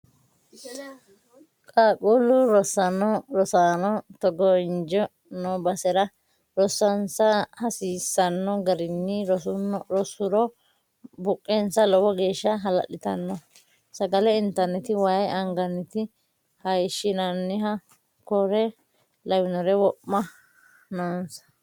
Qaaqqulu rosaano togo injo no basera rosonsa hasiisano garinni rosuro buqensa lowo geeshsha hala'littano sagale intanniti waayi anganihu hayishinannihu kore lawinori wo'me noonsa.